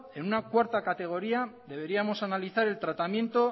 en una cuarta categoría deberíamos analizar el tratamiento